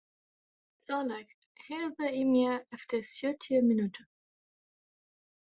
Þorlaug, heyrðu í mér eftir sjötíu mínútur.